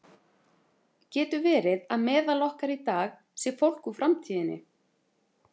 Getur verið að meðal okkar í dag sé fólk úr framtíðinni?